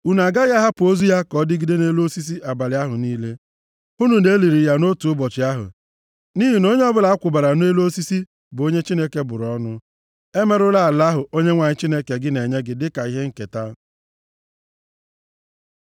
unu agaghị ahapụ ozu ya ka ọ dịgide nʼelu osisi abalị ahụ niile. Hụnụ na e liri ya nʼotu ụbọchị ahụ, nʼihi na onye ọbụla a kwụbara nʼelu osisi bụ onye Chineke bụrụ ọnụ. Emerụla ala ahụ Onyenwe anyị Chineke gị na-enye gị dịka ihe nketa.